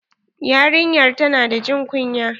Yarinyar ta na da jin kunya.